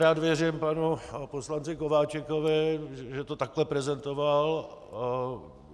Rád věřím panu poslanci Kováčikovi, že to takhle prezentoval.